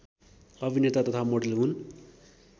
अभिनेता तथा मोडल हुन्